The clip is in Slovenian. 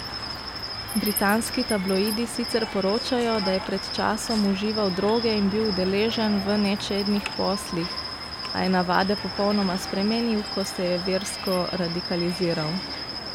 Britanski tabloidi sicer poročajo, da je pred časom užival droge in bil udeležen v nečednih poslih, a je navade popolnoma spremenil, ko se je versko radikaliziral.